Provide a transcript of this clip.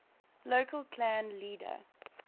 local clan leader